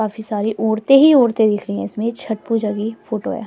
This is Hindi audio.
काफी सारी औरते ही औरते दिख रही है इसमें छट पूजा की फोटो है।